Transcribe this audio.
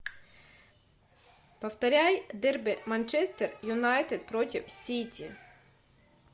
повторяй дерби манчестер юнайтед против сити